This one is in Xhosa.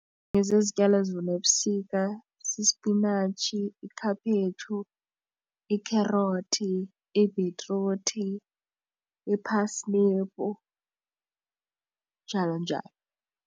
Ezinye zezityalo ezivunwa ebusika sisipinatshi ikhaphetshu ikherothi ibhitruthi njalo njalo.